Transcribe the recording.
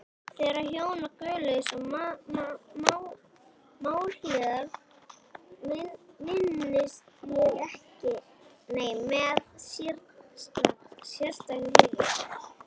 Þeirra hjóna, Guðlaugs og Málhildar, minnist ég með sérstakri hlýju.